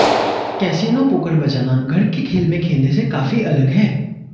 casino poker बजाना घर के खेल में खेलने से काफी अलग है